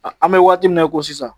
An bɛ waati min na i ko sisan